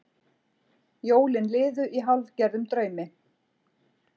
Jólin liðu í hálfgerðum draumi.